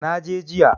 Na je jiya.